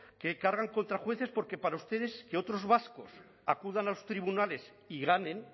que cargan contra jueces porque para ustedes que otros vascos acudan a los tribunales y ganen